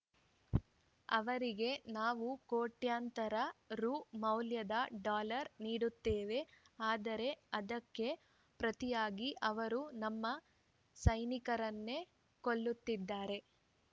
ಅವರಿಗೆ ನಾವು ಕೋಟ್ಯಂತರ ರು ಮೌಲ್ಯದ ಡಾಲರ್‌ ನೀಡುತ್ತೇವೆ ಆದರೆ ಅದಕ್ಕೆ ಪ್ರತಿಯಾಗಿ ಅವರು ನಮ್ಮ ಸೈನಿಕರನ್ನೇ ಕೊಲ್ಲುತ್ತಿದ್ದಾರೆ